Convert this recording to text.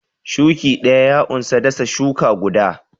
Shuki ɗaya ya unsa dasa shuka guda.